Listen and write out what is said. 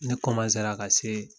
Ne ka se